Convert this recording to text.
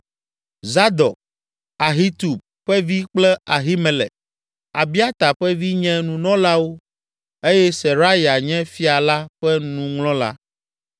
Zadok, Ahitub ƒe vi kple Ahimelek, Abiata ƒe vi nye nunɔlawo eye Seraya nye fia la ƒe nuŋlɔla.